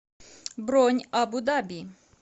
бронь абу даби